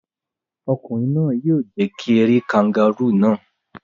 Ọkùnrin náà yóò jẹ kí ẹ rí kangárù náà.